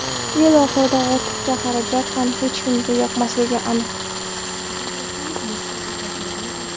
Yil oxirida ortiqcha xarajat ham hech kimga yoqmasligi aniq.